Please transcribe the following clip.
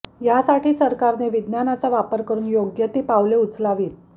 यासाठी सरकारने विज्ञानाचा वापर करून योग्य ती पावले उचलावीत